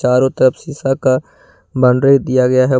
चारों तरफ शीशा का बाउंड्री दिया गया है।